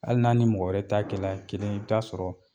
Hali n'a ni mɔgɔ wɛrɛ ta kɛla kelen ye i bɛ taa sɔrɔ